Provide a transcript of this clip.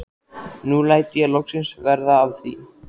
Nú læt ég loksins verða af því.